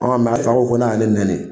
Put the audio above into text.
a fa ko ko n'a ye ne nani